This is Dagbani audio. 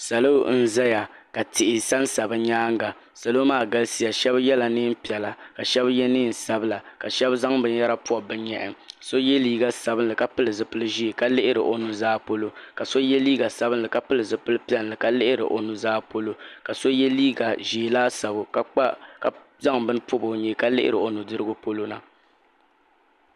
Salo n zaya ka tihi sansa bɛ nyaanga salo maa galisiya aheba ye niɛn'piɛla ka Sheba ye niɛn'sabla ka sheba zaŋ binyɛra pobi bɛ nyɛhi so ye liiga sabinli ka pili zipili ʒee ka lihiri o nuza polo ka so ye liiga ka pili zipil'piɛlli ka lihiri o nuzaa polo ka so ye liiga ʒee laasabu ka zaŋ bini pobi o nyee ka lihiri o nudirigu polona .